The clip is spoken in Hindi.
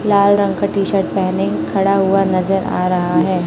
लाल रंग का टी शर्ट पहने खड़ा हुआ नजर आ रहा है।